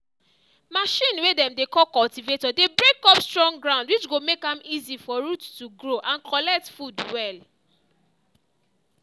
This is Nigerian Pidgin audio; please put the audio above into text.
machine way dem dey call cultivator dey break up strong ground which go make am easy for root to grow and collect food well.